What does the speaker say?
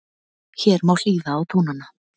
Hér má hlýða á tónana